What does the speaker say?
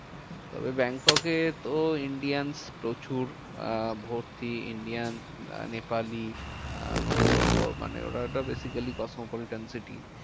তবে ব্যাংককে তো Indians প্রচুর আহ ভর্তি Indians আহ নেপালি আহ তো মানে ওরা একটা basically cosmopolitan city